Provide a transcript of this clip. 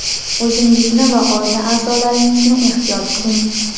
O‘zingizni va oila aʼzolaringizni ehtiyot qiling.